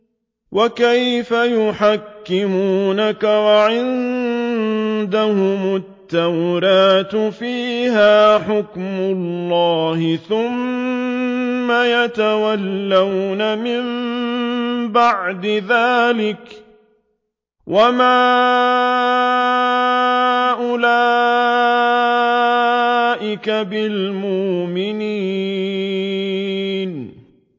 وَكَيْفَ يُحَكِّمُونَكَ وَعِندَهُمُ التَّوْرَاةُ فِيهَا حُكْمُ اللَّهِ ثُمَّ يَتَوَلَّوْنَ مِن بَعْدِ ذَٰلِكَ ۚ وَمَا أُولَٰئِكَ بِالْمُؤْمِنِينَ